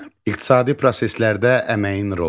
İqtisadi proseslərdə əməyin rolu.